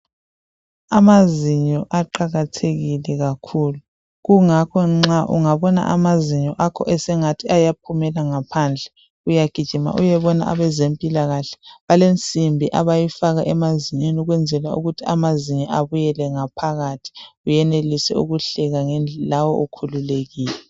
Amazinyo aqakathekile kakhulu. Kungakho nxa ungabona amazinyo akho esengathi ayaphumela ngaphandle uyagijima uyebona abezempilakahle balensimbi abayifaka emazinyweni ukwenzela ukuthi amazinyo abuyele ngaphakathi uyenelise ukuhleka ngendl lawe ukhululekile.